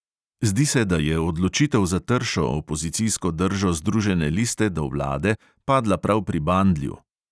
Zdi se, da je odločitev za tršo opozicijsko držo združene liste do vlade padla prav pri bandlju ...